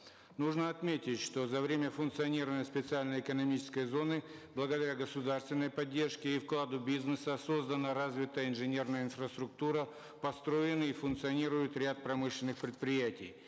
нужно отметить что за время функционирования специальной экономической зоны благодаря государственной поддержке и вкладу бизнеса создана развитая инженерная инфраструктура построены и функционируют ряд промышленных предприятий